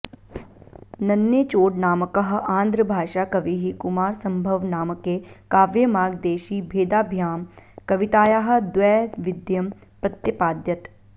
नन्नेचोडनामकः आन्ध्रभाषा कविः कुमारसम्भवनामके काव्येमार्गदेशीभेदाभ्यां कवितायाः द्वैविध्यं प्रत्यपादयत्